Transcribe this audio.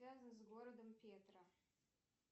связан с городом петра